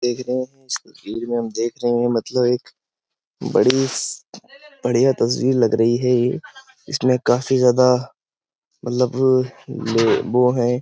देख रहे हैं इस तस्वीर में हम देख रहे हैं मतलब एक बड़ी बढ़िया तस्वीर लग रही है ये इसमें काफी ज्यादा मतलब ये वो है।